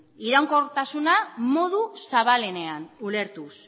iraunkortasuna modu zabalenean ulertuz